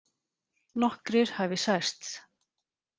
Nokkrir hafi særst